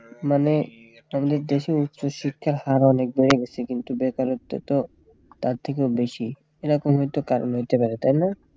মানে আমাদের দেশে উচ্চ শিক্ষার হার অনেক বেড়ে গেছে কিন্তু বেকারত্বের তো তার থেকেও বেশি এরা কোনোদিন তো কারণ হতে পারে তাই না